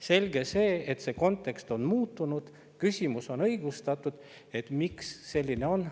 Selge see, et kontekst on muutunud ja on õigustatud küsimus, miks see pealkiri selline on.